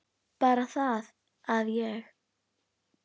Bara það að ég.